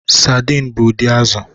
Saidin bụ ụdị azụ̀.